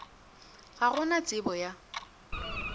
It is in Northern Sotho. ga go na tsebo ya